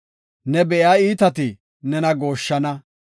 Ne be7iya iitati nena gooshshana.